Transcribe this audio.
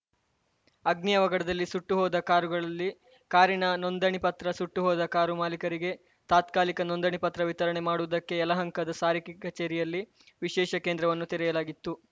ಅಗ್ನಿ ಅವಘಡದಲ್ಲಿ ಸುಟ್ಟು ಹೋದ ಕಾರುಗಳಲ್ಲಿ ಕಾರಿನ ನೋಂದಣೆ ಪತ್ರ ಸುಟ್ಟು ಹೋದ ಕಾರು ಮಾಲಿಕರಿಗೆ ತಾತ್ಕಾಲಿಕ ನೋಂದಣೆ ಪತ್ರ ವಿತರಣೆ ಮಾಡುವುದಕ್ಕೆ ಯಲಹಂಕದ ಸಾರಿಗೆ ಕಚೇರಿಯಲ್ಲಿ ವಿಶೇಷ ಕೇಂದ್ರವನ್ನು ತೆರೆಯಲಾಗಿತ್ತು